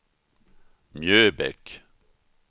Mjöbäck